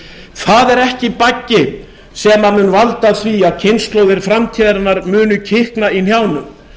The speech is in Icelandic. það er ekki baggi sem mun valda því að kynslóðir framtíðarinnar muni kikna í hnjánum